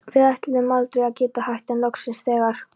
Við ætluðum aldrei að geta hætt, en loksins, þegar